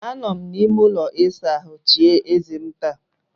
Anọrọ m n'ime ụlọ ịsa ahụ chie eze m taa.